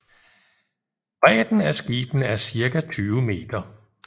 Bredden af skibene er cirka 20 meter